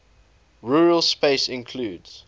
rural space includes